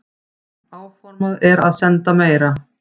Áformað er að senda meira.